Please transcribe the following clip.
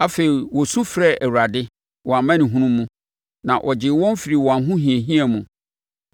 Afei, wɔsu frɛɛ Awurade, wɔn amanehunu mu na ɔgyee wɔn firii wɔn ahohiahia mu.